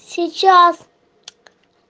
сейчас